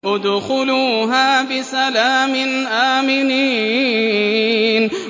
ادْخُلُوهَا بِسَلَامٍ آمِنِينَ